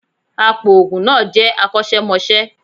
Apoògùn náà jẹ akọ́ṣẹ́mọṣẹ́